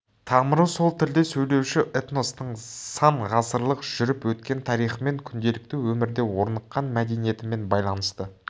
тамыры сол тілде сөйлеуші этностың сан ғасырлық жүріп өткен тарихымен күнделікті өмірде орныққан мәдениетімен байланысты